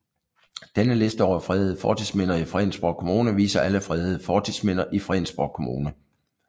Denne liste over fredede fortidsminder i Fredensborg Kommune viser alle fredede fortidsminder i Fredensborg Kommune